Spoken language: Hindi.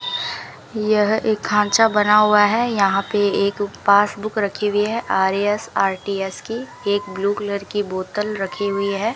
यह एक खांचा बना हुआ है यहां पे एक पासबुक रखी हुई है आर्यस आर_टी_एस की एक ब्लू कलर की बोतल रखी हुई है।